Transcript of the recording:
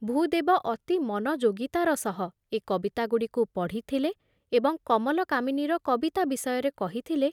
ଭୂଦେବ ଅତି ମନଯୋଗୀତାର ସହ ଏ କବିତାଗୁଡ଼ିକୁ ପଢ଼ିଥିଲେ ଏବଂ କମଲକାମିନୀର କବିତା ବିଷୟରେ କହିଥିଲେ